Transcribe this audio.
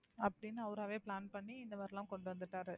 அப்படின்னு அவராவே plan பண்ணி இந்தெ மாதிரியெல்லாம் கொண்டு வந்துருக்காரு.